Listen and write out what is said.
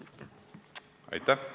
Aitäh!